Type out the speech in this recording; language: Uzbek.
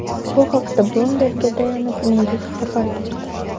Bu haqda Bloomberg‘ga tayanib, Meduza xabar berdi .